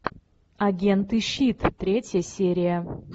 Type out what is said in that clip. агенты щит третья серия